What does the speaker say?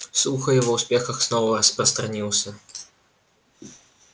слух о его успехах снова распространился